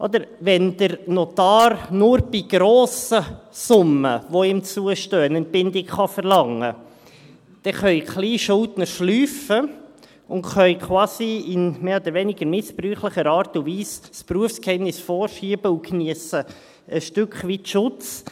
Nicht wahr, wenn der Notar nur bei grossen Summen, die ihm zustehen, eine Entbindung verlangen kann, dann haben die Kleinschuldner ein Schlupfloch und können quasi in mehr oder weniger missbräuchlicher Art und Weise das Berufsgeheimnis vorschieben und geniessen ein Stück weit Schutz.